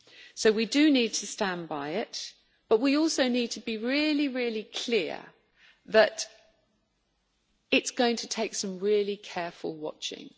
So we do need to stand by it, but we also need to be really, really clear that it is going to take some really careful watching.